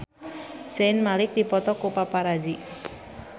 Zayn Malik dipoto ku paparazi